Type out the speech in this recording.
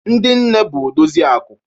Ndi nne bụ odozi akụ